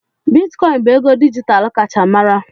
Bitikoin bụ ego dijitalụ kacha mara.